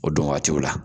O don waatiw la